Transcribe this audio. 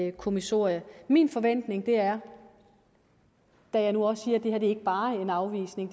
et kommissorium min forventning er da jeg nu også siger at det her ikke bare er en afvisning